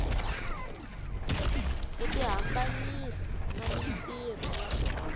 ku tihambanyisa na mintirho ya